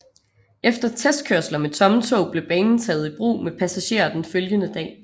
Efter testkørsler med tomme tog blev banen taget i brug med passagerer den følgende dag